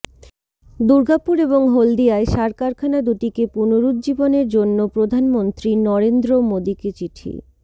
দুর্গাপুর এবং হলদিয়ায় সার কারখানা দুটিকে পুনরুজ্জীবনের জন্য প্রধানমন্ত্রী নরেন্দ্র মোদীকে চিঠি